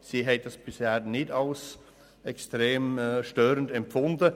Sie haben es bisher nicht als extrem störend empfunden.